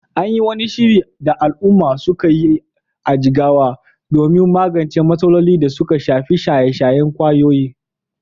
An yi wani shiri da al’umma suka yi a Jigawa domin magance matsalolin da suka shafi shaye-shayen ƙwayoyi